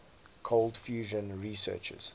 cold fusion researchers